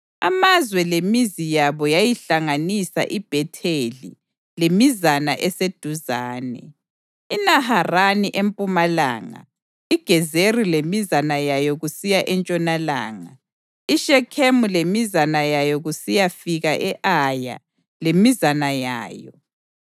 Amazwe lemizi yabo yayihlanganisa iBhetheli lemizana eseduzane, iNaharani empumalanga, iGezeri lemizana yayo kusiya entshonalanga, iShekhemu lemizana yayo kusiyafika e-Aya lemizana yayo.